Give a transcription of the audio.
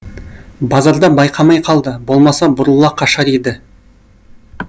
базарда байқамай қалды болмаса бұрыла қашар еді